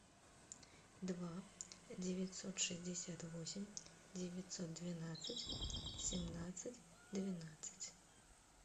два девятьсот шестьдесят восемь девятьсот двенадцать семнадцать двенадцать